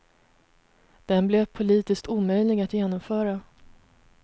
Den blev politiskt omöjlig att genomföra.